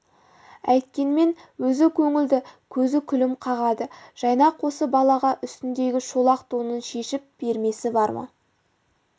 әйткенмен өзі көңілді көзі күлім қағады жайнақ осы балаға үстіндегі шолақ тонын шешіп бермесі бар ма